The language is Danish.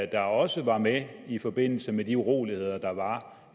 der også var med i forbindelse med de uroligheder der var